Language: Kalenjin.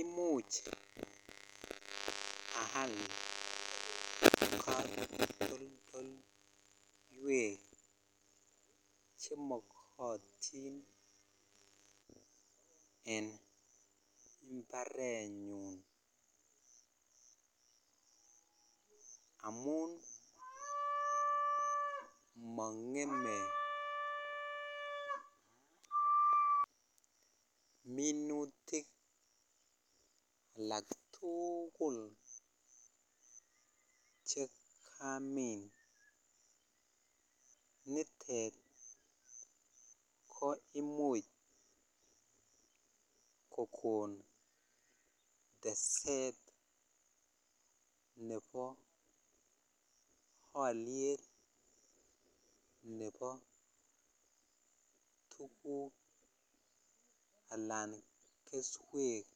Imuch ayal chemakatin en imbarenyun amun mangeme minutik alaktugul chekamin nitet koimuch kokon teset Nebo aliet Nebo tuguk anan keswek